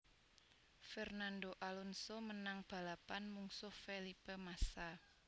Fernando Alonso menang balapan mungsuh Felipe Massa